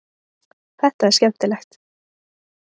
Þetta er skemmtilegt.